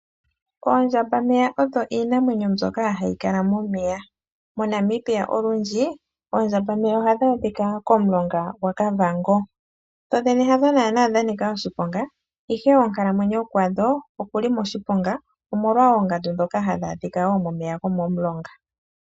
Oondjamba meya odho iinamwenyo mbyoka hayikala momeya, moNamibia olundji oondjamba meya ohaadhadhika komulonga gwaKavango. Dhodhene hadho naana dhanika oshiponga ihe onkalamwenyo kwadho okuli moshiponga. Omolwa oongandu dhoka hadha adhika woo momeya gomomulonga.